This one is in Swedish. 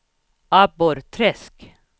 Abborrträsk